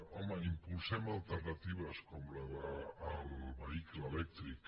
home impulsem alternatives com la del vehicle elèctric